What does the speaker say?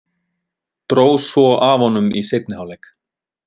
Dró svo af honum í seinni hálfleik.